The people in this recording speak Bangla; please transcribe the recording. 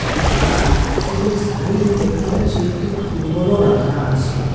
আর এই প্রাচীরের সাইড -এ দেখা যাচ্ছে একটি ফুটবল -ও রাখা আছে।